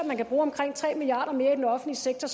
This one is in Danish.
man kan bruge omkring tre milliard kroner mere i den offentlige sektor